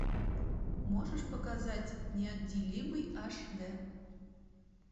можешь показать неотделимый аш дэ